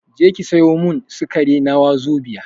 Je ki sayo min sukari na wazobia